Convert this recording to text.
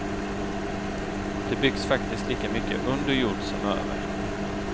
Det byggs faktiskt lika mycket under jord som över.